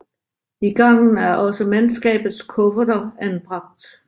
I gangen er også mandskabets kufferter anbragt